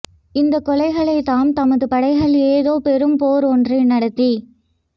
இந்தக் கொலைகளைத் தான் தமது படைகள் ஏதோ பெரும் போர் ஒன்று நடத்தி